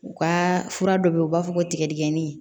U ka fura dɔ be yen u b'a fɔ ko tigɛdɛgɛni